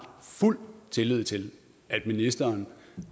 fuld tillid til at ministeren